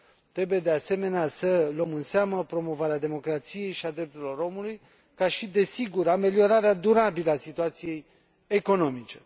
Trebuie, de asemenea, să luăm în seamă promovarea democrației și a drepturilor omului, ca și, desigur, ameliorarea durabilă a situației economice.